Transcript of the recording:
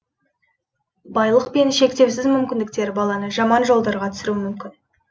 байлық пен шектеусіз мүмкіндіктер баланы жаман жолдарға түсіруі мүмкін